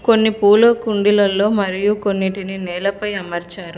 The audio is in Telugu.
కొన్ని పూల కుండీలల్లో మరియు కొన్నిటిని నేలపై అమర్చారు.